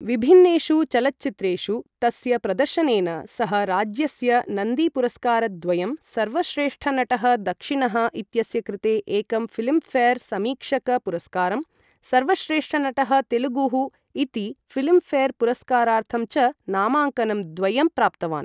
विभिन्नेषु चलच्चित्रेषु तस्य प्रदर्शनेन सः राज्यस्य नन्दीपुरस्कारद्वयं, सर्वश्रेष्ठनटः दक्षिणः इत्यस्य कृते एकं फ़िल्मफ़ेयर् समीक्षक पुरस्कारं, सर्वश्रेष्ठनटः तेलुगुः इति फ़िल्मफ़ेयर् पुरस्कारार्थं च नामाङ्कनं द्वयं प्राप्तवान्।